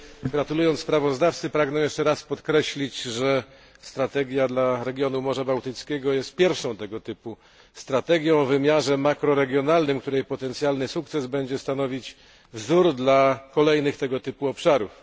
Gratulując sprawozdawcy, pragnę jeszcze raz podkreślić, że strategia dla regionu Morza Bałtyckiego jest pierwszą tego typu strategią o wymiarze makroregionalnym, której potencjalny sukces będzie stanowić wzór dla kolejnych tego typu obszarów.